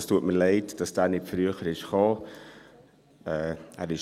Es tut mir leid, dass dieser Antrag nicht früher gekommen ist.